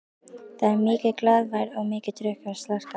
Það er mikil glaðværð og mikið drukkið og slarkað.